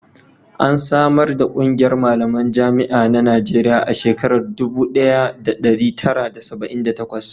an samar ƙungiyar malaman jami'an na Najeriya a shekara dubu daya da dari tara da saba'in da takwas